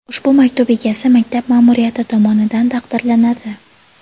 Ushbu maktub egasi maktab ma’muriyati tomonidan taqdirlanadi.